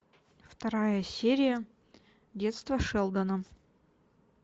вторая серия детство шелдона